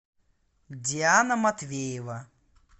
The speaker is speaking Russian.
диана матвеева